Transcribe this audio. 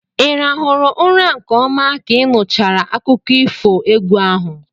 Ị rahụrụ ụra nke ọma ka ị nụchara akụkọ ifo egwu ahụ?